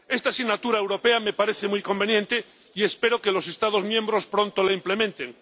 Esta asignatura europea me parece muy conveniente, y espero que los Estados miembros pronto la implementen.